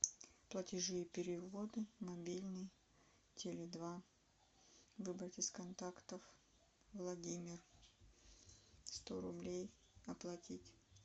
платежи и переводы мобильный теле два выбрать из контактов владимир сто рублей оплатить